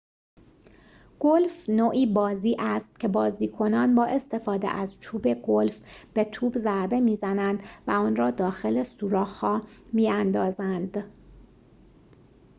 گلف نوعی بازی است که بازیکنان با استفاده از چوب گلف به توپ ضربه می‌زنند و آن را داخل سوراخ‌ها می‌اندازند